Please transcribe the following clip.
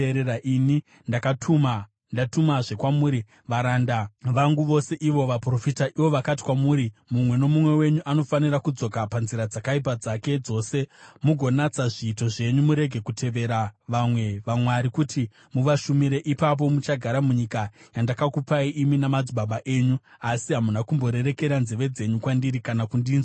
Ini ndakatuma ndatumazve kwamuri varanda vangu vose ivo vaprofita. Ivo vakati kwamuri, “Mumwe nomumwe wenyu anofanira kudzoka panzira dzakaipa dzake dzose mugonatsa zviito zvenyu; murege kutevera vamwe vamwari kuti muvashumire. Ipapo muchagara munyika yandakakupai imi namadzibaba enyu.” Asi hamuna kumborerekera nzeve dzenyu kwandiri kana kundinzwa.